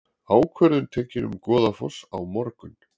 Ákvörðun tekin um Goðafoss á morgun